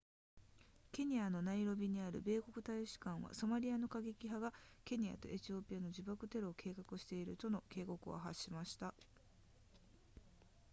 ケニアのナイロビにある米国大使館はソマリアの過激派がケニアとエチオピアで自爆テロを計画しているとの警告を発しました